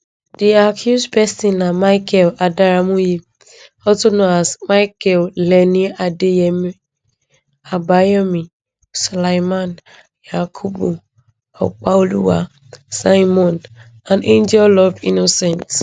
di accused pesins na michael adaramoye also known as michael lenin adeyemi abayomi suleiman yakubu opaoluwa simeon and angel love innocent